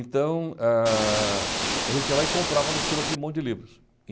Então, a gente ah ia lá e comprava no sebo aquele monte de livros.